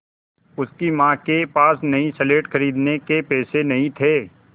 उसकी माँ के पास नई स्लेट खरीदने के पैसे नहीं थे